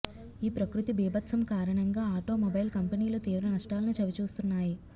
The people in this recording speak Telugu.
ఈ ప్రకృతి భీభత్సం కారణంగా ఆటోమొబైల్ కంపెనీలు తీవ్ర నష్టాలను చవిచూస్తున్నాయి